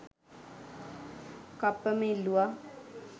කප්පම ඉල්ලුවා